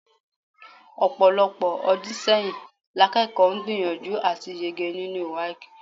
Ọ̀pọ̀lọpọ̀ ọdún sẹ́yìn lakẹ́kọ̀ọ́ gbìyànjú àti yege nínú WAEC.